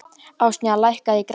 Ásynja, lækkaðu í græjunum.